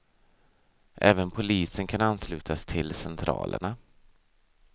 Även polisen kan anslutas till centralerna.